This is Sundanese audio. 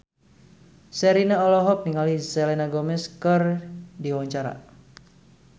Sherina olohok ningali Selena Gomez keur diwawancara